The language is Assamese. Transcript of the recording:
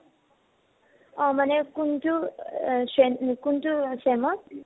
অ । মানে কোনতো আ চেম কোনতো চেম ত ?